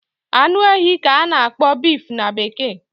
Anu ehi ka a na-akpọ beef na bekee